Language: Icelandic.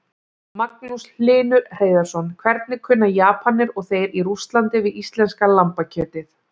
Magnús Hlynur Hreiðarsson: Hvernig kunna Japanir og þeir í Rússlandi við íslenska lambakjötið?